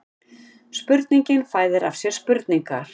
Spurningin fæðir af sér spurningar